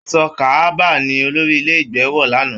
Aṣọ ka'aba ní olórí ilé ìgbé wọ l'ana.